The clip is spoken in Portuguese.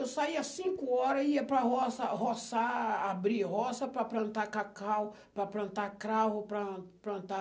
Eu saía cinco horas, ia para roça, roçar, abrir roça para plantar cacau, para plantar cravo, para plantar...